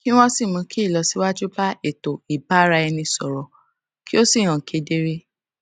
kí wọn sì mú kí ìlọsíwájú lè bá ètò ìbáraẹnisọrọ kí ó sì lè hàn kedere